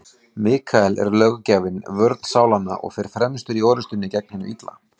Mikael er löggjafinn, vörn sálanna, og fer fremstur í orrustunni gegn hinu illa.